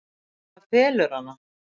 En það felur hana.